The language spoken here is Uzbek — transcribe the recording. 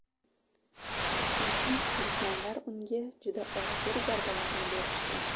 Afsuski, dushmanlar unga juda og‘ir zarbalarni berishgan.